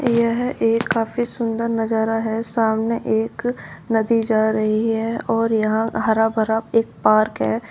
यह एक काफी सुंदर नजारा है सामने एक नदी जा रही है और यहां हरा भरा एक पार्क है।